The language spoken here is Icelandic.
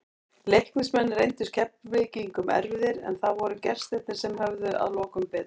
Leiknismenn reyndust Keflvíkingum erfiðir, en það voru gestirnir sem höfðu að lokum betur.